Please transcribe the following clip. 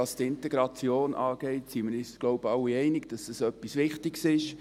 Was die Integration angeht, sind wir uns wohl alle darin einig, dass das etwas Wichtiges ist.